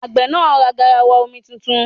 Àgbẹ̀ náà ra garawa omi tuntun.